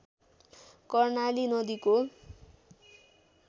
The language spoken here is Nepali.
कर्णाली नदीको